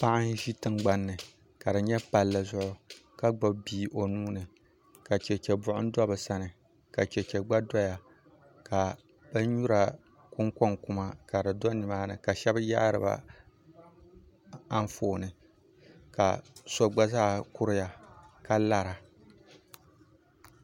Paɣa n ʒi tingbani ni ka di nyɛ palli zuɣu ka gbubi bia o nuuni ka chɛchɛ buɣum do bi sani ka chɛchɛ gba doya ka binnyura kunkoŋ kuma ka di do nimaani ka shab yaariba Anfooni ka so gba zaa kuriya ka lara